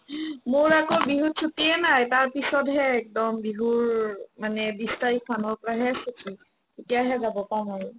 মোৰ আকৌ বিহুত ছুটিয়ে নাই তাৰপিছতহে একদম বিহুৰ মানে বিছ তাৰিখমানৰ পৰাহে ছুটি তেতিয়াহে যাব পাৰো ময়ো